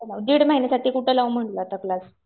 दिड महिन्यासाठी कुठं लावू म्हणलं आता क्लास.